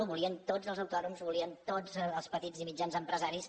ho volien tots els autònoms ho volien tots els petits i mitjans empresaris